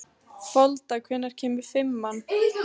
Folda, hvenær kemur fimman?